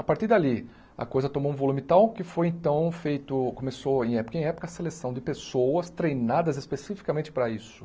A partir dali, a coisa tomou um volume tal que foi então feito, começou em época em época a seleção de pessoas treinadas especificamente para isso.